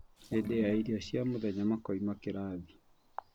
Hĩndĩ ya irio cia mũthenya makoima kĩrathi